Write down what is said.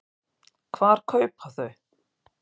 Hvar kaupa þau?